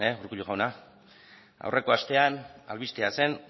urkullu jauna aurreko astean albistea zen